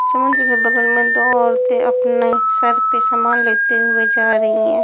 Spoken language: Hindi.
समुद्र के बगल मैं दो औरते अपने सर पे सामान लेते हुए जा रही हैं।